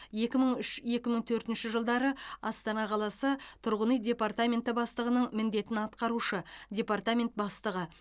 екі мың үш екі мың төртінші жылдары астана қаласы тұрғын үй департаменті бастығының міндетін атқарушы департамент бастығы